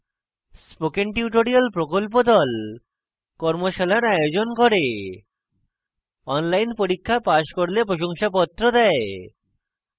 spoken tutorial প্রকল্প the কর্মশালার আয়োজন করে অনলাইন পরীক্ষা পাস করলে প্রশংসাপত্র দেয়